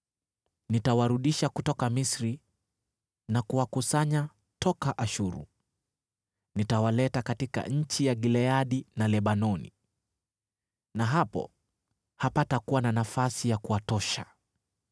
Nitawarudisha kutoka Misri na kuwakusanya toka Ashuru. Nitawaleta katika nchi ya Gileadi na Lebanoni, na hapo hapatakuwa na nafasi ya kuwatosha.